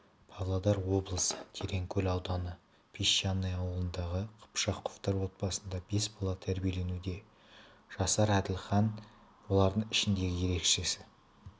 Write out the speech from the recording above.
павлодар облысы тереңкөл ауданы песчаное ауылындағы қыпшақовтар отбасында бес бала тәрбиеленуде жасар әділхан олардың ішіндегі ерекшесі